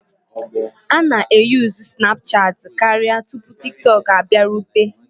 A na-eyuzu Sinapuchat karịa tupu TikTok abịarute,